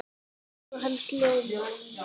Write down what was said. Augu hans ljóma.